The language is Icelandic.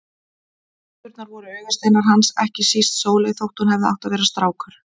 Dæturnar voru augasteinar hans, ekki síst Sóley þótt hún hefði átt að vera strákur.